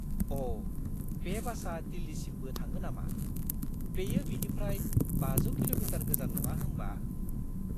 अ'! बे बासआ दिल्लीसिमबो थाङो नामा! बेयो बेनिफ्राय 500 किल'मिटार गोजान नङा होमबा?